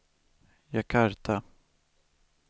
Jakarta